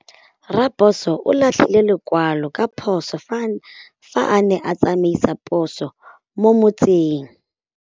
Raposo o latlhie lekwalô ka phosô fa a ne a tsamaisa poso mo motseng.